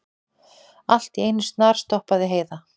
Allt í einu snarstoppaði Heiða.